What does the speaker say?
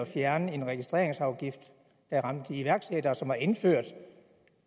fjernet en registreringsafgift der ramte iværksættere og som var indført